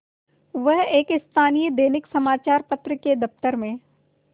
वह एक स्थानीय दैनिक समचार पत्र के दफ्तर में